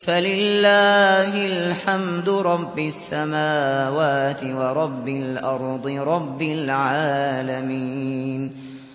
فَلِلَّهِ الْحَمْدُ رَبِّ السَّمَاوَاتِ وَرَبِّ الْأَرْضِ رَبِّ الْعَالَمِينَ